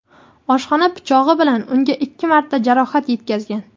oshxona pichog‘i bilan unga ikki marta jarohat yetkazgan.